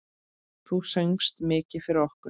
Þú söngst mikið fyrir okkur.